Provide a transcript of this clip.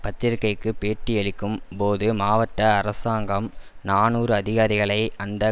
பத்திரிகைக்கு பேட்டியளிக்கும் போது மாவட்ட அரசாங்கம் நாநூறு அதிகாரிகளை அந்த